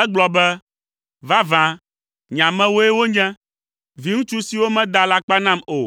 egblɔ be, “Vavã nye amewoe wonye. Viŋutsu siwo mada alakpa nam o”,